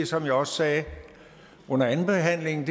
som jeg også sagde under andenbehandlingen